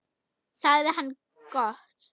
sagði hann: Gott.